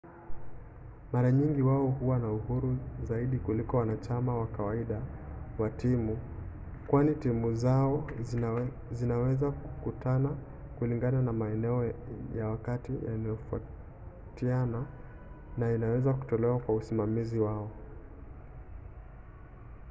mara nyingi wao huwa na uhuru zaidi kuliko wanachama wa kawaida wa timu kwani timu zao zinaweza kukutana kulingana na maeneo ya wakati yanayotofautiana na inaweza kutoeleweka kwa usimamizi wao